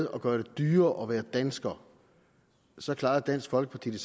at gøre det dyrere at være dansker så klarede dansk folkeparti